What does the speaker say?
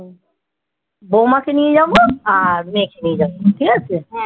বৌমাকে নিয়ে যাবো আর মেয়েকে নিয়ে যাবো ঠিক আছে